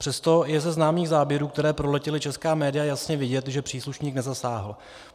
Přesto je ze známých záběrů, které proletěly česká média, jasně vidět, že příslušník nezasáhl.